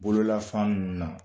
Bololafan ninnu na